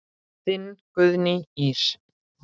Þín Guðný Ýr.